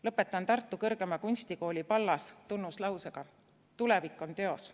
Lõpetan Tartu Kõrgema Kunstikooli Pallas tunnuslausega "Tulevik on teos".